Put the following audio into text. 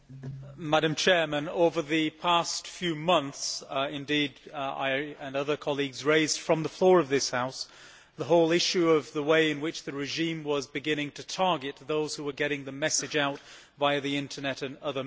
Mr President, over the past few months, I and other colleagues have raised from the floor of this House the whole issue of the way in which the regime was beginning to target those who were getting the message out via the Internet and other means.